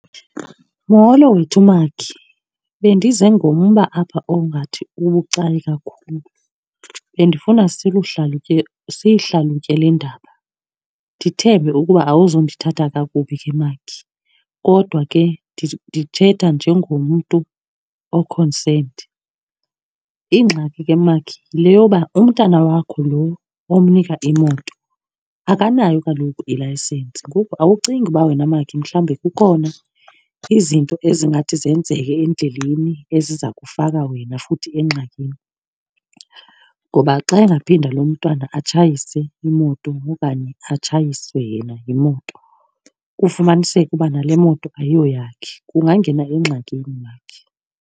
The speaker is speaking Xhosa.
Molo wethu makhi. Bendiza ngomba apha ongathi ubucayi kakhulu. Bendifuna siyihlalutye le ndaba, ndithembe ukuba awuzundithatha kakubi ke makhi. Kodwa ke ndithetha njengomntu o-concerned. Ingxaki ke makhi yile yoba umntana wakho lo omnika imoto akanayo kaloku ilayisensi. Ngoku awucingi uba wena makhi mhlawumbi kukhona izinto ezingathi zenzeke endleleni eziza kufaka wena futhi engxakini? Ngoba xa engaphinda lo mntwana atshayise imoto okanye atshayiswe yena yimoto kufumaniseke uba nale moto ayoyakhe ungangena engxakini makhi.